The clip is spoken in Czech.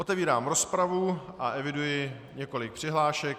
Otevírám rozpravu a eviduji několik přihlášek.